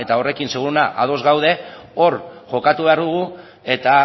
horrekin seguru ados gaude hor jokatu behar dugu eta